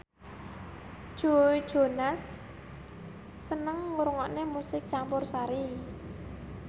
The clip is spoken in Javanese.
Joe Jonas seneng ngrungokne musik campursari